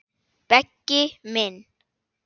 Beggi minn.